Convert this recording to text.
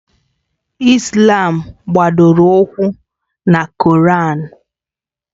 Islàm gbadoro ụkwụ na koraan